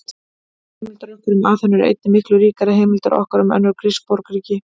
Heimildir okkar um Aþenu eru einnig miklu ríkari en heimildir okkar um önnur grísk borgríki.